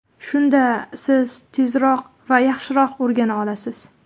Shunda siz tezroq va yaxshiroq o‘rgana olasiz.